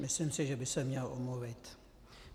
Myslím si, že by se měl omluvit.